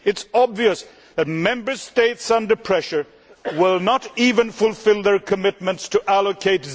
It is obvious that Member States under pressure will not even fulfil their commitments to allocate